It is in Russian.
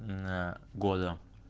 на года